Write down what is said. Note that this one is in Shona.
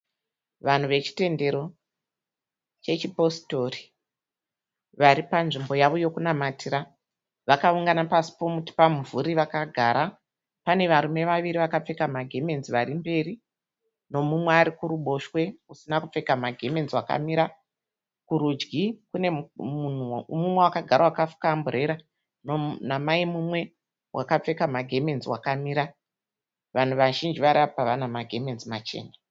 Vanhu vechitendero chechipositori, vari panzvimbo yavo yokunamatira, vakaungana pasi pomuti pamumvuri vakagara. Pane varume vaviri vakapfeka magemenzi vari mberi, nomumwe ari kuruboshwe usina kupfeka magemenzi wakamira. Kurudyi kune munhu mumwe wakagara wakafuka amburera, namai mumwe wakapfeka magemenzi wakamira. Vanhu vazhinji vari apa vana magemenzi machena.